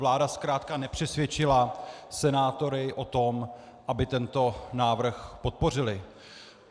Vláda zkrátka nepřesvědčila senátory o tom, aby tento návrh podpořili.